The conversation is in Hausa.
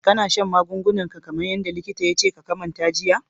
Kana shan magungunan ka kamar yadda likita ya ce ya kamata ka jiya?